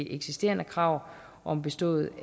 eksisterende krav om bestået